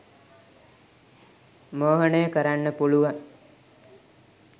මෝහනය කරන්න පුළුවන්